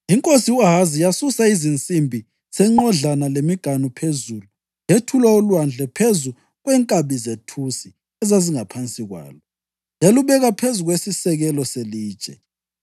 Inkosi u-Ahazi yasusa izinsimbi zenqodlana lemiganu phezulu, yethula uLwandle phezu kwenkabi zethusi ezazingaphansi kwalo, yalubeka phezu kwesisekelo selitshe.